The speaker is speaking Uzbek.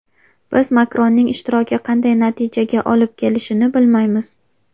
Biz Makronning ishtiroki qanday natijaga olib kelishini bilmaymiz.